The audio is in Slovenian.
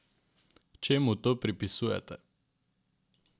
Čemu to pripisujete?